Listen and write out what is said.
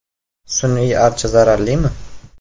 Sun’iy archa zararlimi?.